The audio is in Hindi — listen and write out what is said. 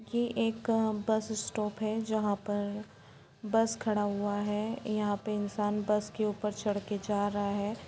ये एक बस स्टॉप है जहाँ पर बस खड़ा हुआ है यहाँ पे इन्सान बस के ऊपर चढ़कर जा रहा है।